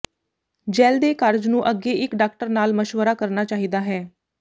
gel ਦੇ ਕਾਰਜ ਨੂੰ ਅੱਗੇ ਇੱਕ ਡਾਕਟਰ ਨਾਲ ਮਸ਼ਵਰਾ ਕਰਨਾ ਚਾਹੀਦਾ ਹੈ